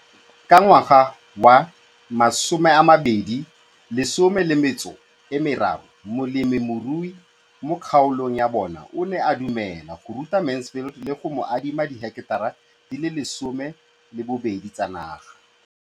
Ka ngwaga wa 2013, molemirui mo kgaolong ya bona o ne a dumela go ruta Mansfield le go mo adima di heketara di le 12 tsa naga.